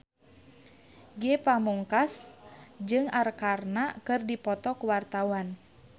Ge Pamungkas jeung Arkarna keur dipoto ku wartawan